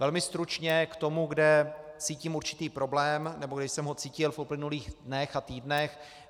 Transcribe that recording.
Velmi stručně k tomu, kde cítím určitý problém, nebo kde jsem ho cítil v uplynulých dnech a týdnech.